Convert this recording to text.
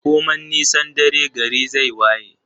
Koman nisan dare gari zai waye